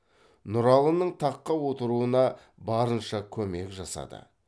нұралының таққа отыруына барынша көмек жасады